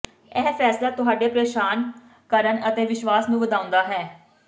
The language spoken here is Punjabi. ਇਹ ਫੈਸਲਾ ਤੁਹਾਡੇ ਪ੍ਰੇਸ਼ਾਨ ਕਰਨ ਅਤੇ ਵਿਸ਼ਵਾਸ ਨੂੰ ਵਧਾਉਂਦਾ ਹੈ